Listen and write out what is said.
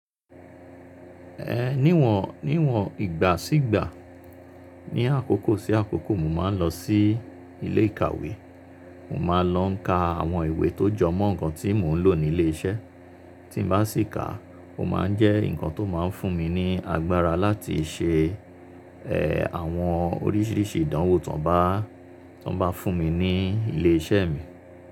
Ẹ̀ níwọ̀n, níwọ̀n ìgbà sígbà, ní àkókó sí àkókó mo máa ń lọ sí ilé ìkàwé. Mo máa lọ n ka àwọn ìwé tó jọ mọ́ nǹkan tí mò ń lò ní ilé iṣẹ́. Tí n bá sì ká, ó máa ń jẹ́ nǹkan tó máa ń fún mi ní agbára láti ṣe, ẹ́, àwọn oríṣìíríṣìí ìdánwò tón bá, tó bá fún mi ní ilé iṣẹ́ mi.